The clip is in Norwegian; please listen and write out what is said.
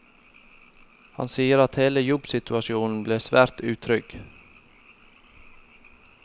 Han sier at hele jobbsituasjonen ble svært utrygg.